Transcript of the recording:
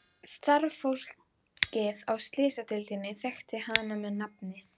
Starfsfólkið á Slysadeildinni þekkti hana með nafni.